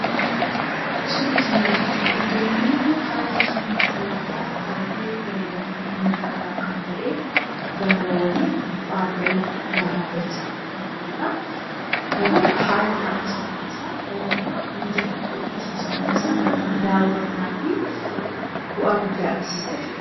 Suurri kanaa gaditti argamu; haala taa'umsa lafaa baayyee bareedaa fi miidhagaa kan ta'e, gaarawwaniif bu'aa ba'ii, gaaraaf dachaa kan qabudha. Garuu haalli taa'umsa lafa isaa dhala namaaf mijataa ta'uu dhiisuusaa mul'isa. Garuummoo daawwannaafi bu'aa guddaa agarsiisa jechuudha.